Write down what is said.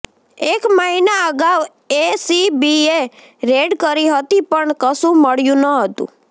એક મહિના અગાઉ એસીબીએ રેડ કરી હતી પણ કશું મળ્યું ન હતું